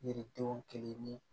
Yiridenw kelen ni